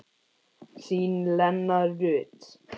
Þín, Lena Rut.